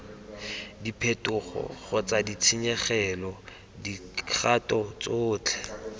diphetogo kgotsa ditshenyegelo dikgato tsotlhe